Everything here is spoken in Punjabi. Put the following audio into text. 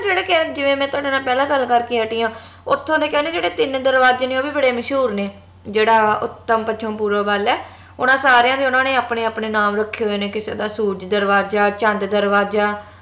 ਜਿਹੜੇ ਕੇ ਜਿਵੇ ਮੈਂ ਤੁਹਾਡੇ ਨਾਲ ਪਹਿਲਾਂ ਗੱਲ ਕਰਕੇ ਹਟੀ ਆ ਓਥੋਂ ਦੇ ਕਹਿੰਦੇ ਜਿਹੜੇ ਤਿਨ ਦਰਵਾਜੇ ਨੇ ਉਹ ਵੀ ਬੜੇ ਮਸ਼ਹੂਰ ਨੇ ਜੇਹੜਾ ਉੱਤਰ ਪੱਛਮ ਪੂਰਵ ਵੱਲ ਆ ਓਹਨਾ ਸਾਰੀਆਂ ਦੇ ਉਹਨਾਂ ਨੇ ਆਪਣੇ ਆਪਣੇ ਨਾਮ ਰੱਖੇ ਹੋਏ ਨੇ ਕਿਸੇ ਦਾ ਸੂਰਜ ਦਰਵਾਜਾ ਚੰਦ ਦਰਵਾਜਾ